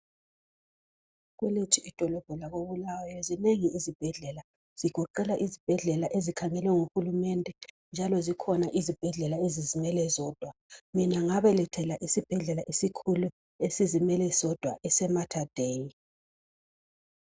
Kwelethu idolobho lakoBulawayo zinengi izibhedlela. Zigoqela izibhedlela ezikhangelwe nguhulumende njalo zikhona izibhedlela ezizimele zodwa. Mina ngabelethela esibhedlela esikhulu esizimele sodwa ese "Mater Dei".